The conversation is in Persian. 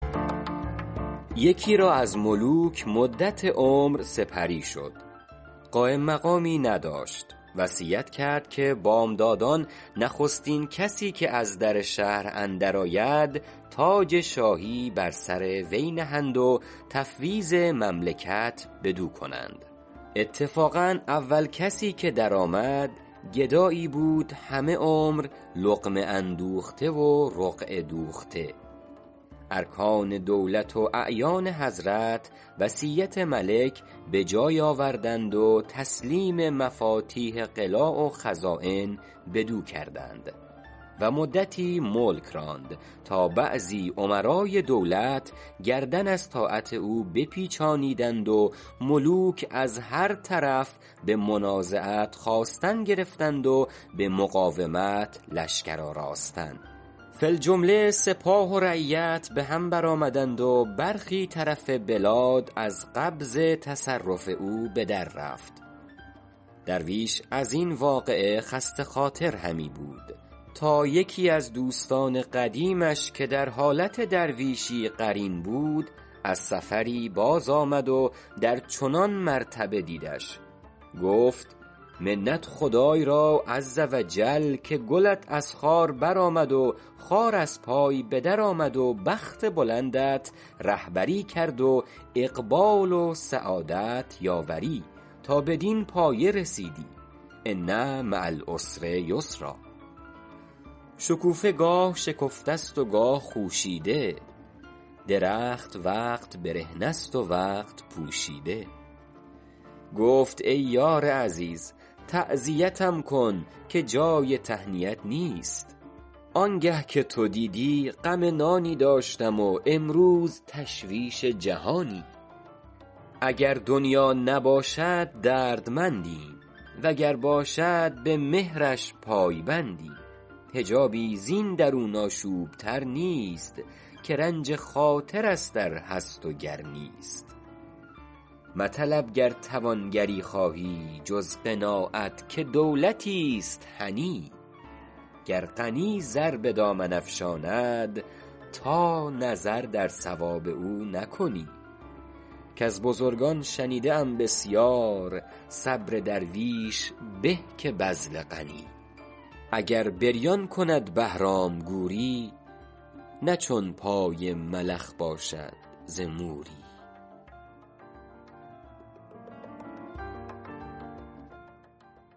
یکی را از ملوک مدت عمر سپری شد قایم مقامی نداشت وصیت کرد که بامدادان نخستین کسی که از در شهر اندر آید تاج شاهی بر سر وی نهند و تفویض مملکت بدو کنند اتفاقا اول کسی که در آمد گدایی بود همه عمر لقمه اندوخته و رقعه دوخته ارکان دولت و اعیان حضرت وصیت ملک به جای آوردند و تسلیم مفاتیح قلاع و خزاین بدو کردند و مدتی ملک راند تا بعضی امرای دولت گردن از طاعت او بپیچانیدند و ملوک از هر طرف به منازعت خاستن گرفتند و به مقاومت لشکر آراستن فی الجمله سپاه و رعیت به هم بر آمدند و برخی طرف بلاد از قبض تصرف او به در رفت درویش از این واقعه خسته خاطر همی بود تا یکی از دوستان قدیمش که در حالت درویشی قرین بود از سفری باز آمد و در چنان مرتبه دیدش گفت منت خدای را عز و جل که گلت از خار بر آمد و خار از پای به در آمد و بخت بلندت رهبری کرد و اقبال و سعادت یاوری تا بدین پایه رسیدی ان مع العسر یسرا شکوفه گاه شکفته است و گاه خوشیده درخت وقت برهنه است و وقت پوشیده گفت ای یار عزیز تعزیتم کن که جای تهنیت نیست آنگه که تو دیدی غم نانی داشتم و امروز تشویش جهانی اگر دنیا نباشد دردمندیم وگر باشد به مهرش پای بندیم حجابی زین درون آشوب تر نیست که رنج خاطر است ار هست و گر نیست مطلب گر توانگری خواهی جز قناعت که دولتیست هنی گر غنی زر به دامن افشاند تا نظر در ثواب او نکنی کز بزرگان شنیده ام بسیار صبر درویش به که بذل غنی اگر بریان کند بهرام گوری نه چون پای ملخ باشد ز موری